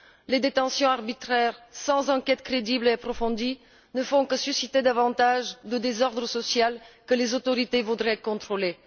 Les détentions arbitraires, sans enquête crédible et approfondie, ne font que susciter davantage le désordre social que les autorités voudraient contrôler.